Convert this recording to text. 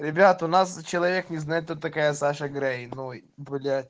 ребят у нас человек не знает кто такая саша грей ну и бля